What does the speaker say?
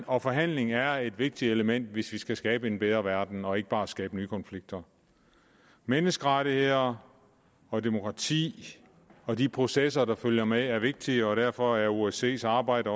og forhandling er vigtige elementer hvis vi skal skabe en bedre verden og ikke bare skabe nye konflikter menneskerettigheder og demokrati og de processer der følger med er vigtige og derfor er osces arbejde